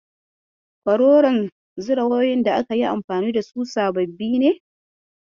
Kororon zira wayoyin da aka yi anfani da su sababbi ne?